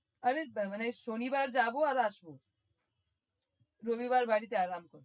আরে মানে শনিবার যাবো আর আসবো রবিবার বাড়িতে আরাম করব।